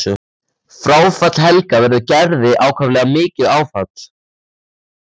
Fráfall Helga verður Gerði ákaflega mikið áfall.